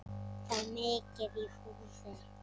Þar er mikið í húfi.